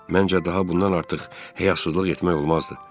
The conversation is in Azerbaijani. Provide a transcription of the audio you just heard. Məncə, daha bundan artıq həyasızlıq etmək olmazdı.